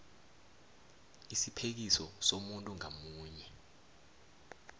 isiphekiso somuntu ngamunye